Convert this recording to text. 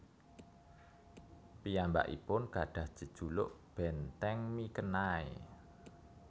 Piyambakipun gadhah jejuluk Benteng Mikenai